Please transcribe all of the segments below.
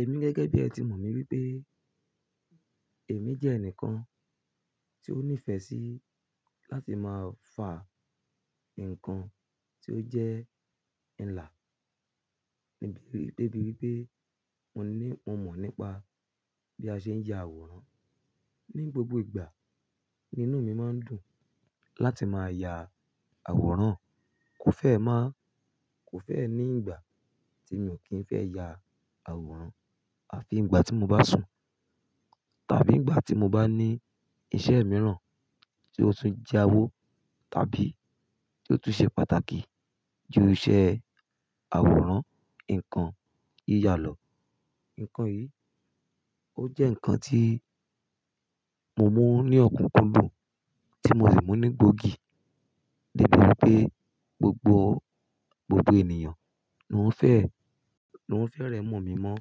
Èmi gẹ́gẹ́ bí ẹ ti mọ̀ mi wípé èmi jẹ́ ẹnìkan tí ó nífẹ́ sí láti máa fà nǹkan tí ó jẹ́ ilà, níbi débi wípé mo ní mo mọ̀ nípa bí a ṣe ń ya àwòrán. Ni gbogbo ìgbà ni inú mi máa ń dùn láti máa ya àwòrán. Kò fẹ́ má kò fẹ́ ní ìgbà tí mi ò kí ń fẹ́ ya àwòrán àfi ìgbà tí mo bá sùn tàbí ìgbà tí mo bá ní iṣẹ́ mìíràn tí ó tún jẹ́ awo tàbí tí ó tún ṣe pàtàkì ju iṣẹ́ àwòrán, nǹkan yíya lọ. Nǹkan yìí, ó jẹ́ nǹkan tí mo mú ní ọ̀kúnkúndùn tí mo sì mú ní gbóògì. Débi wípé gbogbo, gbogbo ènìyàn ni wọ́n fẹ́, ni wọ́n fẹ́ rẹ́ mọ̀ mi mọ́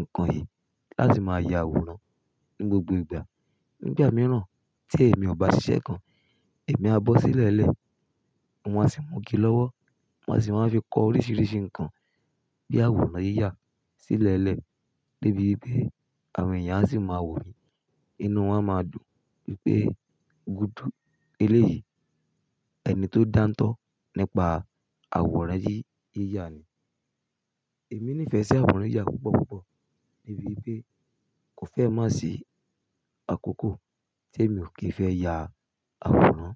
nǹkan yìí láti máa ya àwòrán ní gbogbo ìgbà. Ni ìgbà mìíràn tí èmi ò bá ṣiṣẹ́ kan, èmi á bọ́ sílẹ̀lẹ̀, un á sì múgi lọ́wọ́, ma sì máa fi kọ oríṣiríṣi nǹkan bí àwòrán yíyà sílẹ̀lẹ̀ débi wípé àwọn èèyàn a sì máa wò mí, inú wọn a máa dùn wípé gúdú eléyìí, ẹni tó dáńtọ́ nípa àwòrán yíyà ni. Èmi nífẹ̀ẹ́ sí àwòrán yíyà púpọ̀ púpọ̀ débi wípé kò fẹ́ má sì àkókò tí èmi ò kí ń fẹ́ ya àwòrán.